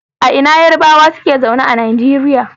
A ina Yarbawa suke zaune a Nigeria?